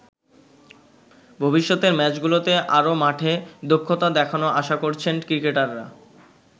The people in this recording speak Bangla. ভবিষ্যতের ম্যাচগুলোতে আরও মাঠে দক্ষতা দেখানোর আশা করছেন ক্রিকেটাররা।